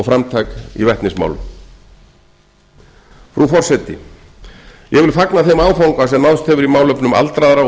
framtak í vetnismálum frú forseti ég vil fagna þeim áfanga sem náðst hefur í málefnum aldraðra og